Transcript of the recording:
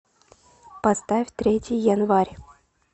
поставь третий январь